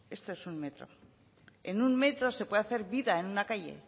esto es un metro en un metro se puede hacer vida en una calle